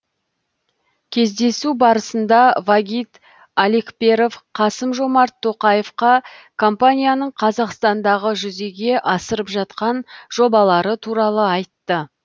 кездесу барысында вагит алекперов қасым жомарт тоқаевқа компанияның қазақстандағы жүзеге асырып жатқан жобалары туралы айтты